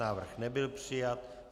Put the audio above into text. Návrh nebyl přijat.